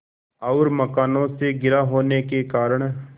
और मकानों से घिरा होने के कारण